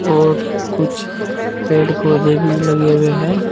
और कुछ पेड़ पौधे भी लगे हुए हैं।